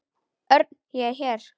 Örn, ég er hér